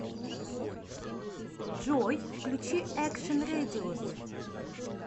джой включи экшн рэдиус